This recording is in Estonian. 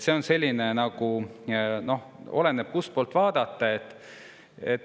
Seega oleneb, kustpoolt vaadata.